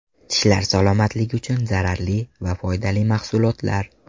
Tishlar salomatligi uchun zararli va foydali mahsulotlar.